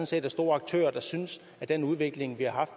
set er store aktører der synes at den udvikling